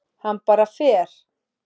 Hann bara fer.